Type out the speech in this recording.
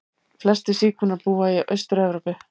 Flestir sígaunar búa í Austur-Evrópu.